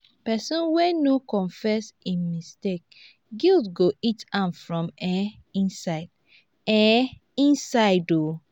pesin wey no confess im mistake guilt go eat am from um inside. um inside oo.